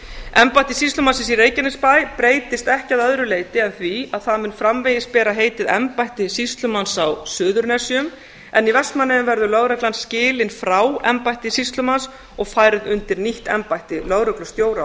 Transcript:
embætti sýslumannsins í reykjanesbæ breytist ekki að öðru leyti en því að það mun framvegis bera heitið embætti sýslumanns á suðurnesjum en í vestmannaeyjum verður lögreglan skilin frá embætti sýslumanns og færð undir nýtt embætti lögreglustjóra á